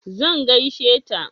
zan gaishe ta